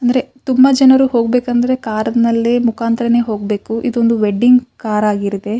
ಅಂದ್ರೆ ತುಂಬ ಜನರು ಹೋಗಬೇಕಂದ್ರೆ ಕಾರ್ ನಲ್ಲೆ ಮುಖಾಂತರನೆ ಹೋಗ್ಬೇಕು. ಇದೊಂದು ವೆಡ್ಡಿಂಗ್ ಕಾರ್ ಆಗಿರುತ್ತೆ.